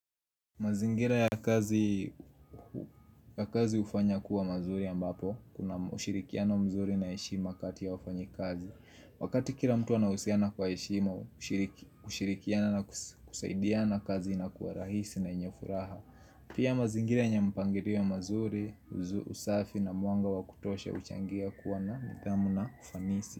Mazingira ya kazi hufanya kuwa manzuri ambapo, kuna ushirikiano mzuri na heshima kati ya wafanyi kazi. Wakati kila mtu anahusiana kwa heshima, kushirikiana na kusaidiana kazi inakuwa rahisi na yenye furaha. Pia mazingira yenye mpangilio mazuri, usafi na mwanga wa kutosha huchangia kuwa na nidhamu na ufanisi.